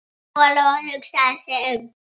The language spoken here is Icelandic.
Lóa-Lóa hugsaði sig um.